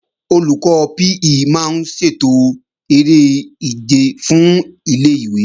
Olùkọ́ PE máa ń ṣètò eré ìje fún ilé-ìwé